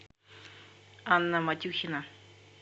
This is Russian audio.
анна матюхина